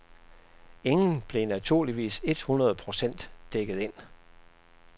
Ingen blev naturligvis et hundrede procent dækket ind.